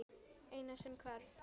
Eina sem hvarf.